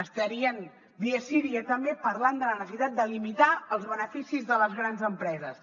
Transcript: estarien dia sí dia també parlant de la necessitat de limitar els beneficis de les grans empreses